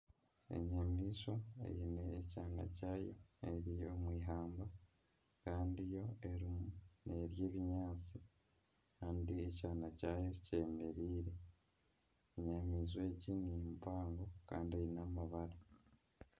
Enyamaishwa eine ekyaana kyaayo eri omu ihamba Kandi yo eriyo nerya ebinyaatsi kandi ekyaana kyaayo kyemereire. Enyamaishwa egi ni mpango kandi eine amabara